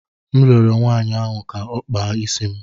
M rịọrọ nwaanyị ahụ ka ọ kpaa isi m.